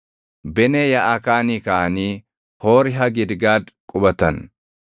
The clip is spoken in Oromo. Benee Yaaʼakaanii kaʼanii Hoori Hagidgaad qubatan.